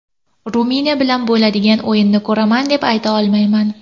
Ruminiya bilan bo‘ladigan o‘yinni ko‘raman, deb ayta olmayman.